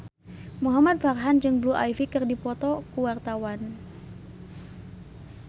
Muhamad Farhan jeung Blue Ivy keur dipoto ku wartawan